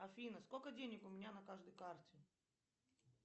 афина сколько денег у меня на каждой карте